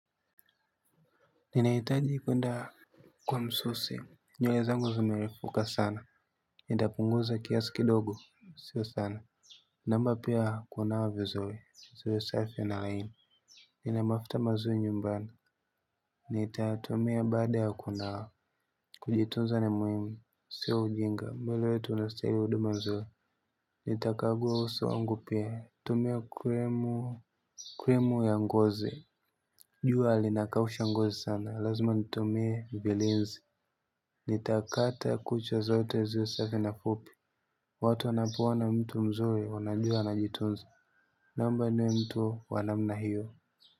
Ninahitaji kuenda kwa msusi. Nywele zangu zimerefuka sana. Nitapunguza kiasi kidogo. Sio sana. Naomba pia kunawa vizuri. Ziwe safi na laini. Nina mafuta mazuri nyumbani. Nitatumia baada ya kunawa. Kujitunza ni muhimu. Sio ujinga. Mwili wetu unastahili huduma nzuri. Nitakagua uso wangu pia. Kutumia krimu ya ngozi jua linakausha ngozi sana. Lazima nitumie vilinzi. Nitakata kucha zote ziwe safi na fupi. Watu wanapoona mtu mzuri wanajua anajitunza. Naomba niwe mtu wa namna hiyo.